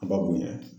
A ka bonya